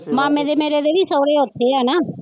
ਮਾਮੇ ਦੇ ਮੇਰੇ ਦੇ ਵੀ ਸਹੁਰੇ ਉੱਥੇ ਆ ਨਾ